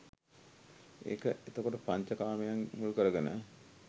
ඒක එතකොට පංච කාමයන් මුල් කරගෙන